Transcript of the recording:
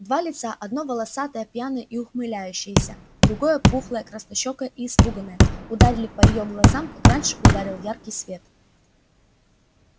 два лица одно волосатое пьяное и ухмыляющееся другое пухлое краснощёкое и испуганное ударили по её глазам как раньше ударил яркий свет